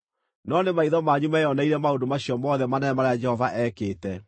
No nĩ maitho manyu meeyoneire maũndũ macio mothe manene marĩa Jehova ekĩte.